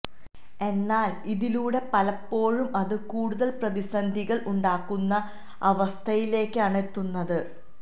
എന്നാല് ഇതിലൂടെ പലപ്പോഴും അത് കൂടുതല് പ്രതിസന്ധികള് ഉണ്ടാക്കുന്ന അവസ്ഥയിലേക്കാണ് എത്തുന്നത്